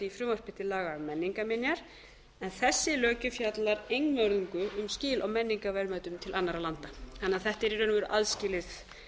frumvarpi til laga um menningarminjar en þessi löggjöf fjallar einvörðungu um skil á menningarverðmætum til annarra landa þannig að þetta er í raun og veru aðskilið